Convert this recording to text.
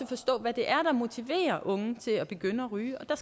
forstå hvad det er der motiverer unge til at begynde at ryge og der